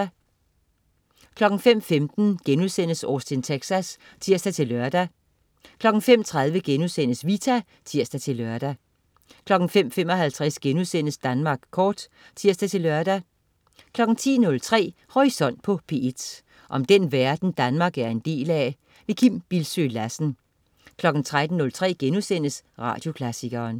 05.15 Austin Texas* (tirs-lør) 05.30 Vita* (tirs-lør) 05.55 Danmark Kort* (tirs-lør) 10.03 Horisont på P1. Om den verden Danmark er en del af. Kim Bildsøe Lassen 13.03 Radioklassikeren*